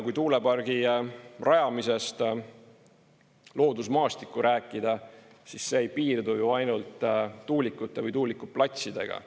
Kui tuulepargi rajamisest loodusmaastikku rääkida, siis see ei piirdu ju ainult tuulikute või tuulikuplatsidega.